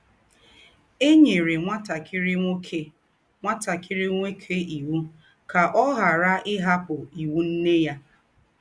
È nyèrè ńwátàkìrí nwókè ńwátàkìrí nwókè ìwù̄ kà ọ̀ ghàrà ‘ íhapụ́ ìwù̄ nnè yà. ’